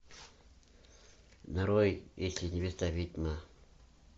нарой если невеста ведьма